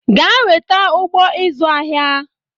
Gaa weta ụgbọ ịzụ ahịa